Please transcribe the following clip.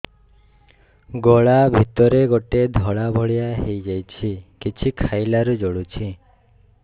ଗଳା ଭିତରେ ଗୋଟେ ଧଳା ଭଳିଆ ହେଇ ଯାଇଛି କିଛି ଖାଇଲାରୁ ଜଳୁଛି